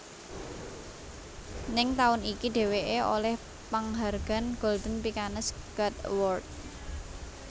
Ning taun iki dheweké olih panghargan Golden Pikkanes God Award